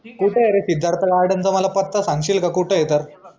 कुटे ए रे सिद्धार्थ garden चा मला पत्ता सांगशील का कुटे ए तर?